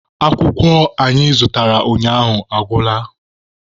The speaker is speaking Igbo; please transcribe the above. Pepa anyị zụtara ụnyaahụ agwụla.